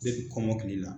kɔmɔkili la